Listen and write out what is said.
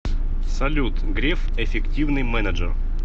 салют греф эффективный менеджер